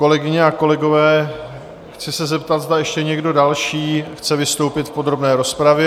Kolegyně a kolegové, chci se zeptat, zda ještě někdo další chce vystoupit v podrobné rozpravě?